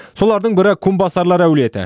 солардың бірі кумбасарлар әулеті